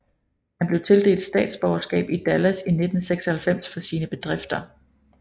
Han blev tildelt statsborgerskab i Dallas i 1996 for sine bedrifter